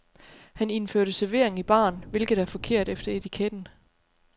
Han indførte servering i baren, hvilket er forkert efter etiketten.